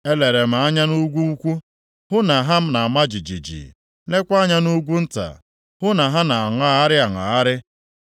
Elere m anya nʼugwu ukwu, hụ na ha na-ama jijiji, leekwa anya nʼugwu nta, hụ na ha na-aṅagharị aṅagharị.